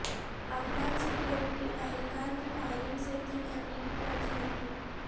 Afghan security اہل کار کی فائرنگ سے تین امریکی فوجی زخمی